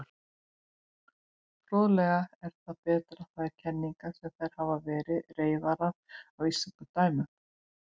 Fróðlegt er að bera þær kenningar sem hér hafa verið reifaðar að íslenskum dæmum.